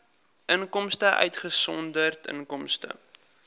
inkomste uitgesonderd inkomste